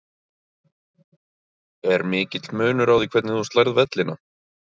Er mikill munur á því hvernig þú slærð vellina?